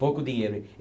Pouco dinheiro.